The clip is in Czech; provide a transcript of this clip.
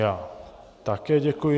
Já také děkuji.